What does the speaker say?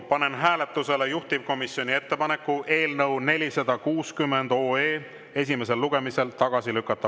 Panen hääletusele juhtivkomisjoni ettepaneku eelnõu 460 esimesel lugemisel tagasi lükata.